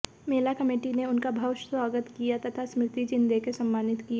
मेला committee ने उनका भव्य स्वागत किया तथा स्मृति चिन्ह देकर सम्मानित किया